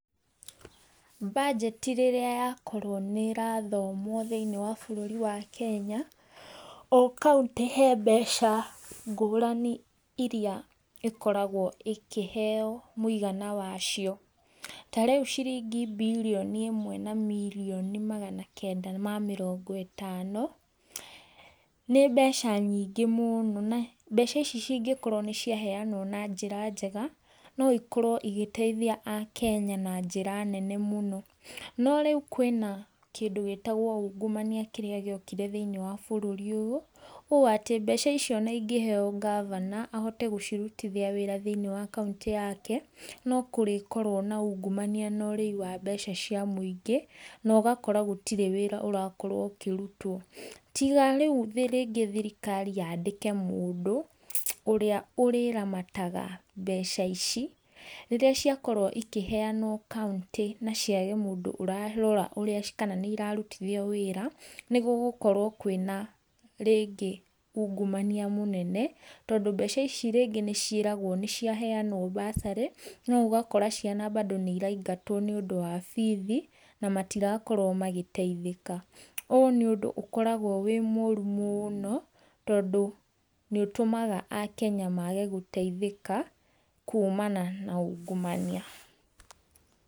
Mbajeti rĩrĩa yakorwo nĩ ĩrathomwo thĩiniĩ wa bururi wa Kenya, o county he mbeca ngũrani iria ikoragwo ĩkĩheo mũigana wacio. Ta rĩu ciringi mbirioni imwe na mirioni magana kenda ma mirongo itano nĩ mbeca nyingĩ mũno na mbeca ici cingĩkorwo nĩciahenwo na njĩra njega noikorwo igĩteithia akenya na njĩra nene mũno no rĩũ kwina kĩndũ gĩtagwo ungumania kirĩa gĩokire thĩiniĩ wa bururi ũyũ. Ũũ atĩ mbeca icio onaingĩheo governor ahote gũcirutithia wira thĩiniĩ wa county yake nokũrĩkorwo na ungumania na ũrĩi wa mbeca cia mũingĩ na ũgakora gũtĩrĩ wĩra ũrakorwo ũkĩrũtwo. Tiga rĩũ rĩngĩ thirikari yandike mũndũ ũrĩa ũrĩramataga mbeca ici, rĩrĩa ciakorwo ikĩheanwo county naciega mundũ ũrarora ũrĩa kana nĩirarutithio wĩra nĩgũo gũkorwo kwina rĩngĩ ũngũmania mũnene tondũ mbeca ici rĩngĩ nĩciĩragwo nĩciaheanwo mbacarĩ noũgakora ciana mbandu nĩiraingatwo nĩũndũ wa bithi na matirakorwo magĩteithĩka. Ũũ niũndũ ũkoragwo wĩ mũru mũno tondũ nĩũtumaga akenya mage gũteithĩka kuumana na ungumania.